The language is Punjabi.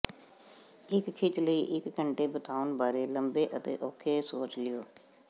ਇੱਕ ਖਿੱਚ ਲਈ ਇੱਕ ਘੰਟੇ ਬਿਤਾਉਣ ਬਾਰੇ ਲੰਬੇ ਅਤੇ ਔਖੇ ਸੋਚ ਲਓ